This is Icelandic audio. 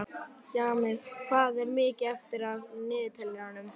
Jamil, hvað er mikið eftir af niðurteljaranum?